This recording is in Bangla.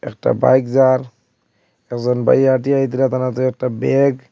একটা বাইক যার একজন বাই হাঁটিয়া তার হাতে একটা ব্যাগ ।